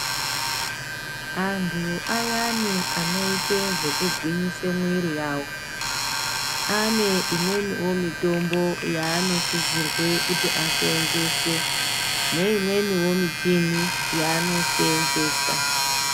Antu ayani anoite zvekugwinyise mwiri yawo ane imweniwo mitombo yaanosisirwe kuti aseenzese neimweniwo michini yaanoseenzesa.